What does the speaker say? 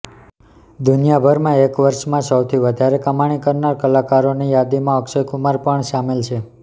દુનિયાભરમાં એક વર્ષમાં સૌથી વધારે કમાણી કરનાર કલાકારોની યાદીમાં અક્ષય કુમાર પણ સામેલ છે